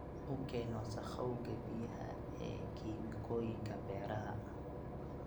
U keen wasakhowga biyaha ee kiimikooyinka beeraha.